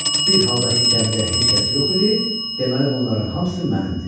Bir halda ki, gəmidə heç kəs yox idi, deməli bunların hamısı mənimdir.